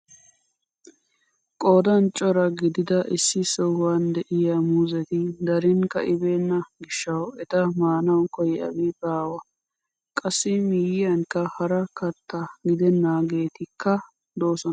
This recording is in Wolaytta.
Qoodan cora gidida issi sohuwaan de'iyaa muuzeti darin ka'ibenna giishshawu eta maanawu koyiyaabi baawa. qassi miyiyaankka hara katta gidennageetikka doosona.